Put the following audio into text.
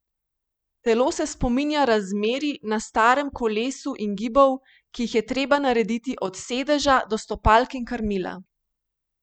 Telo se spominja razmerij na starem kolesu in gibov, ki jih je treba narediti od sedeža do stopalk in krmila.